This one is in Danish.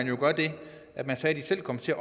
jo gøre det at man sagde at de selv kom til